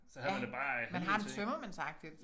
Ja man har det tømmermændsagtigt